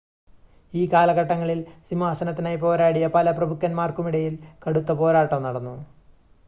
ഈ കാലഘട്ടങ്ങളിൽ സിംഹാസനത്തിനായി പോരാടിയ പല പ്രഭുക്കന്മാർക്കുമിടയിൽ കടുത്ത പോരാട്ടം നടന്നു